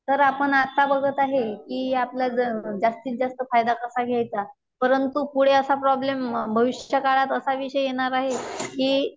तर आपण आता बघत आहे की आपलं ज जास्तीत जास्त फायदा कसा घ्यायचा परंतु पुढे असा प्रॉब्लेम, भविष्यकाळात असा विषय येणार आहे कि